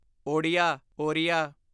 Odia Oriya